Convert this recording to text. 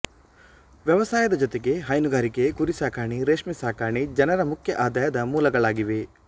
ವ್ಯವಸಾಯದ ಜೊತೆಗೆ ಹೈನುಗಾರಿಕೆ ಕುರಿ ಸಾಕಣೆ ರೇಷ್ಮೆ ಸಾಕಣೆ ಜನರ ಮುಖ್ಯ ಆಧಾಯದ ಮೂಲಗಳಾಗಿವೆ